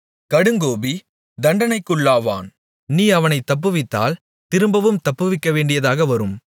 கடுங்கோபி தண்டனைக்குள்ளாவான் நீ அவனைத் தப்புவித்தால் திரும்பவும் தப்புவிக்கவேண்டியதாக வரும்